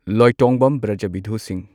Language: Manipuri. ꯂꯣꯏꯇꯣꯡꯕꯝ ꯕ꯭ꯔꯖꯕꯤꯙꯨ ꯁꯤꯡꯍ